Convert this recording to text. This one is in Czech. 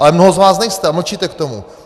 Ale mnoho z vás nejste a mlčíte k tomu.